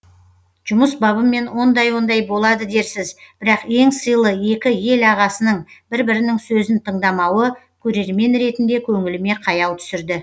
жұмыс бабымен ондай ондай болады дерсіз бірақ ең сыйлы екі ел ағасының бір бірінің сөзін тыңдамауы көрермен ретінде көңіліме қаяу түсірді